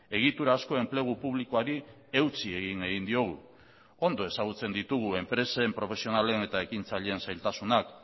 egitura asko enplegu publikoari eutsi egin egin diogu ondo ezagutzen ditugu enpresen profesionalen eta ekintzaileen zailtasunak